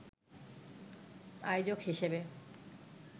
আয়োজক হিসেবে